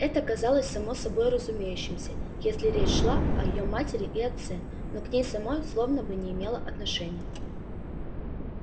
это казалось само собой разумеющимся если речь шла о её матери и отце но к ней самой словно бы не имело отношения